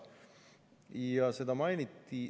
Ja seda mainiti.